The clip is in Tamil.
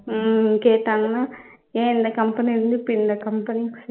உம் கேட்டாங்கன்ன ஏன் இந்த company வந்து பின்ன company